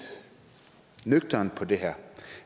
nøgternt på det her